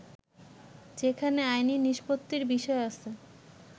যেখানে আইনে নিষ্পত্তির বিষয় আছে